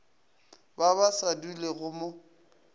ba ba sa dulego mo